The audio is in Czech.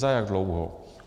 Za jak dlouho?